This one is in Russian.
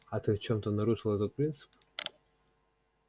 а ты в чём-то нарушил этот принцип